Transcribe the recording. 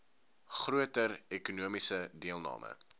groter ekonomiese deelname